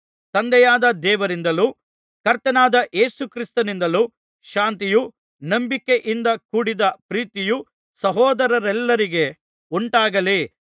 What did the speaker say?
ತಂದೆಯಾದ ದೇವರಿಂದಲೂ ಕರ್ತನಾದ ಯೇಸು ಕ್ರಿಸ್ತನಿಂದಲೂ ಶಾಂತಿಯೂ ನಂಬಿಕೆಯಿಂದ ಕೂಡಿದ ಪ್ರೀತಿಯೂ ಸಹೋದರರೆಲ್ಲರಿಗೆ ಉಂಟಾಗಲಿ